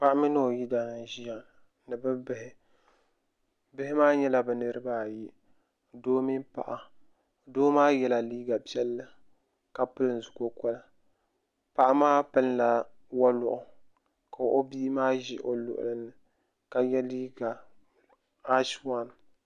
Paɣa mini o yidaan n ʒiya ni bɛ bihi bihi maa nyɛla bɛ niriba ayi doo mini paɣa doo maa yɛla liiga piɛlli ka pili zu kokɔli paɣa maa pilila wɔluɣu ka o bii maa ʒi o luɣuli zuɣu ka yɛ liiga aashi waan.